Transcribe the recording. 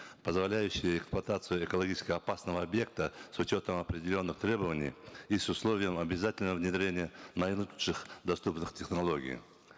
позволяющие эксплуатацию экологически опасного объекта с учетом определенных требований и с условием обязательного внедрения наилучших доступных технологий